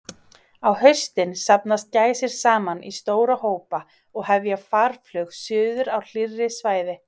Á haustin safnast gæsir saman í stóra hópa og hefja farflug suður á hlýrri svæði.